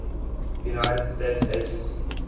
united states agency